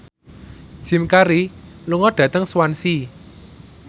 Jim Carey lunga dhateng Swansea